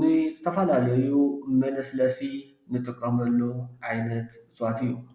ንዝተፈላለዩ ንመለስለሲ እንጥቀመሉ ዓይነት እፅዋት እዩ፡፡